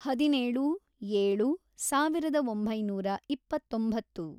ಹದಿನೇಳು, ಏಳು, ಸಾವಿರದ ಒಂಬೈನೂರ ಇಪ್ಪತ್ತೊಂಬತ್ತು